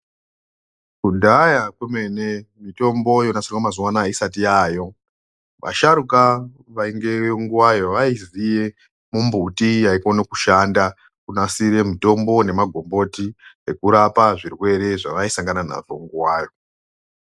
Kudhaya kwemene mitombo yonasirwa mazuwa anaya isati yaayo vasharukwa vaingeyo nguwayo vaiziye mimbiti yaikone kushanda kunasira mitombo nemagomboti ekurapa zvirwere zvakasangana nazvo nguwayo.